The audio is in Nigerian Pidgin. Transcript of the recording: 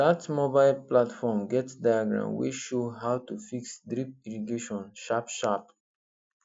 that mobile platform get diagram wey show how to fix drip irrigation sharpsharp